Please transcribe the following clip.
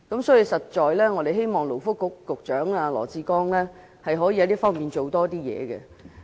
所以，我們希望勞工及福利局局長羅致光可以在這方面多下點工夫。